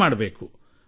ವಿಶ್ವಾಸ ಇಡೋಣ